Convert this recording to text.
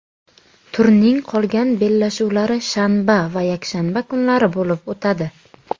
Turning qolgan bellashuvlari shanba va yakshanba kunlari bo‘lib o‘tadi.